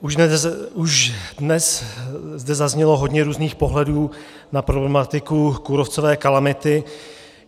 Už dnes zde zaznělo hodně různých pohledů na problematiku kůrovcové kalamity.